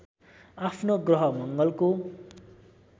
आफ्नो ग्रह मङ्गलको